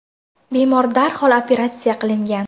Bemor darhol operatsiya qilingan.